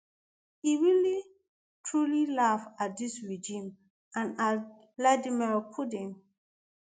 e really truly laugh at dis regime and at vladimir putin